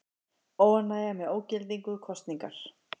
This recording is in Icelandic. Óánægja með ógildingu kosningar